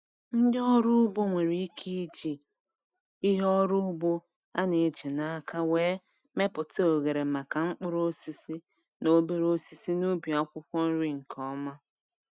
Ndị ọrụ ugbo nwere ike iji ihe ọrụ ugbo a na-eji n’aka were mepụta oghere maka mkpụrụ osisi na obere osisi n'ubi akwụkwọ nri nke ọma.